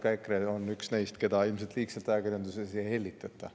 Ma arvan, et ka EKRE on üks neist, keda ajakirjanduses ilmselt liigselt ei hellitata.